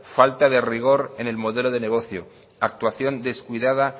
falta de rigor en el modelo de negocio actuación descuidada